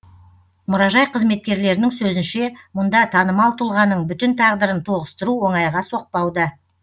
мұражай қызметкерлерінің сөзінше мұнда танымал тұлғаның бүтін тағдырын тоғыстыру оңайға соқпауда